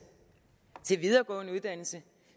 til videregående uddannelse